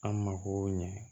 An mako ɲɛ